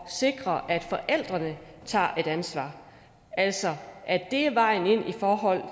sikre at forældrene tager et ansvar altså at det er vejen i forhold